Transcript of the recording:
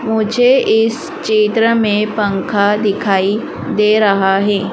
मुझे इस चित्र में पंखा दिखाई दे रहा है।